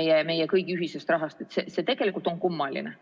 meie kõigi ühisest rahast on tegelikult kummaline.